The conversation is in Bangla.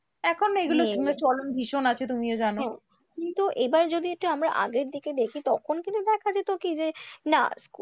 এখন না এগুলোর চলন ভীষণ আছে তুমিও জানো, কিন্তু এবার যদি একটু আমরা আগের দিকে দেখি তখন কিন্তু দেখা যেত কি যে না,